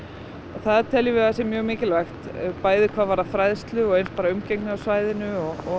það teljum við að sé mjög mikilvægt bæði hvað varðar fræðslu og eins umgengni á svæðinu